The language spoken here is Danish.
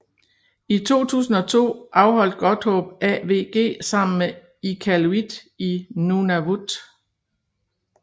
I 2002 afholdt Godthåb AWG sammen med Iqaluit i Nunavut